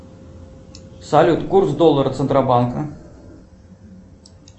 салют курс доллара центробанка